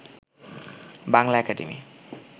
Bangla academy